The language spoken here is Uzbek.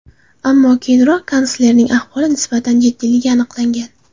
Ammo keyinroq kanslerning ahvoli nisbatan jiddiyligi aniqlangan.